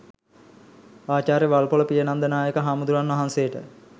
ආචාර්ය වල්පොළ පියනන්ද නායක හාමුදුරුවන් වහන්සේට